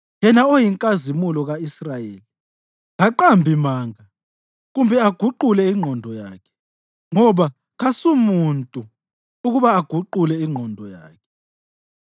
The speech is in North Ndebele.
Yena oyiNkazimulo ka-Israyeli kaqambi manga kumbe aguqule ingqondo yakhe, ngoba kasumuntu ukuba aguqule ingqondo yakhe.”